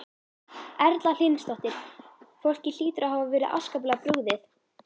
Erla Hlynsdóttir: Fólki hlýtur að hafa verið afskaplega brugðið?